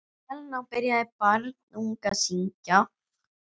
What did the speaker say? Helena byrjaði barnung að syngja.